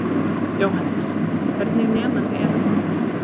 Jóhannes: Hvernig nemandi er hann?